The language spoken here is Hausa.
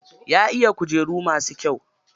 Ya iya kujeru masu kyau.